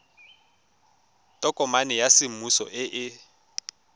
tokomane ya semmuso e e